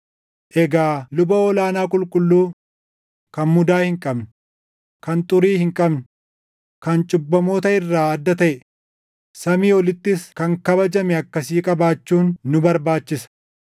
Egaa luba ol aanaa qulqulluu, kan mudaa hin qabne, kan xurii hin qabne, kan cubbamoota irraa adda taʼe, samii olittis kan kabajame akkasii qabaachuun nu barbaachisa.